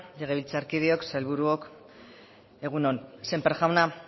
legebiltzarkideok sailburuok egun on sémper jauna